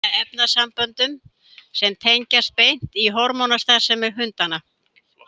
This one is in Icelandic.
Þeir seyta efnasamböndum sem tengjast beint hormónastarfsemi hundanna.